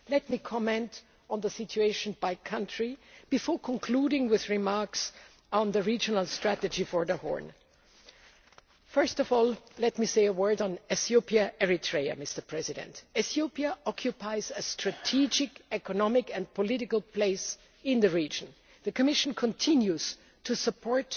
Let me comment on the situation by country before concluding with remarks on the regional strategy for the Horn. Firstly, let me say a word on Ethiopia Eritrea. Ethiopia occupies a strategic economic and political place in the region. The Commission continues to support